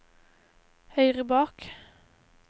høyre bak